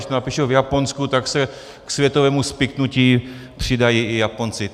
Když to napíšou v Japonsku, tak se k světovému spiknutí přidají i Japonci.